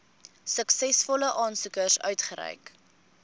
suksesvolle aansoekers uitgereik